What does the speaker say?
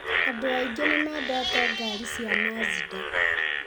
Andũ aingĩ nĩmendete ngari cia Mazda.